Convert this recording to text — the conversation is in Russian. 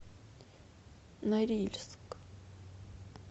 норильск